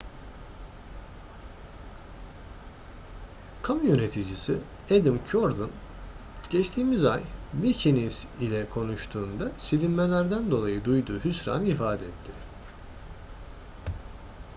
kamu yöneticisi adam cuerden geçtiğimiz ay wikinews ile konuştuğunda silinmelerden dolayı duyduğu hüsranı ifade etti